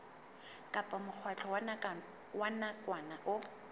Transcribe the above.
kapa mokgatlo wa nakwana o